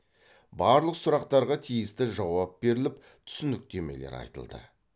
барлық сұрақтарға тиісті жауап беріліп түсініктемелер айтылды